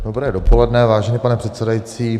Dobré dopoledne, vážený pane předsedající.